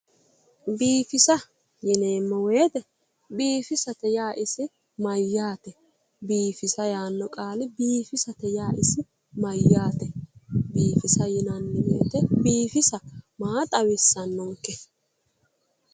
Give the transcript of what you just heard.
biifisa yineemmo woyiite biifisate yaa isi mayyaate biifisa yaanno qaali biifisate yaa isi mayyaate? biifisa yineemmo woyite biifisa maa xawissannonke?